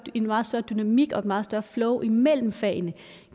en meget større dynamik og et meget større flow imellem fagene